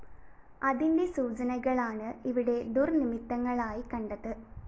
അതിന്റെ സൂചനകളാണ് ഇവിടെ ദുര്‍നിമിത്തങ്ങളായി കണ്ടത്